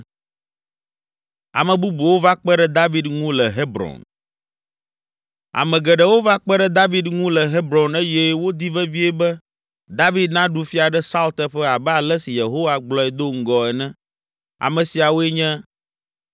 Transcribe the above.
Ame geɖewo va kpe ɖe David ŋu le Hebron eye wodi vevie be David naɖu fia ɖe Saul teƒe abe ale si Yehowa gblɔe do ŋgɔ ene. Ame siawoe nye: